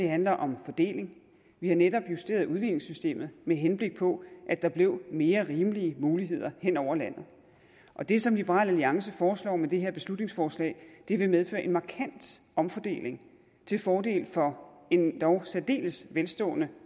handler om fordeling vi har netop justeret udligningssystemet med henblik på at der blev mere rimelige muligheder hen over landet og det som liberal alliance foreslår med det her beslutningsforslag vil medføre en markant omfordeling til fordel for endog særdeles velstående